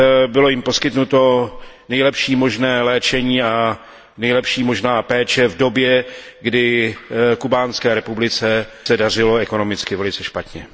Bylo jim poskytnuto nejlepší možné léčení a nejlepší možná péče v době, kdy se Kubánské republice dařilo ekonomicky velice špatně.